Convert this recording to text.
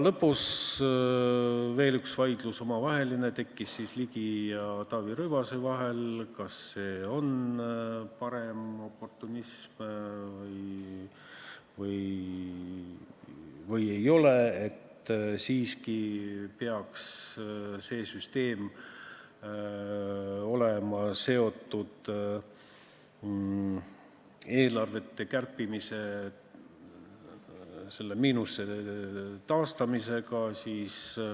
Lõpus tekkis veel üks omavaheline vaidlus Ligi ja Taavi Rõivase vahel, et kas see on paremoportunism või ei ole, et see süsteem peaks siiski olema seotud eelarvete kärpimisel tekkinud miinuse kaotamisega.